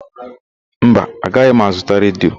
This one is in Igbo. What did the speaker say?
Mba, agaghị m azụta redio.